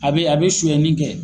A bɛ a bɛ sonyani kɛ.